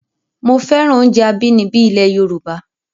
Mo féràn oúnjẹ abínibí ilẹ̀ Yorùbá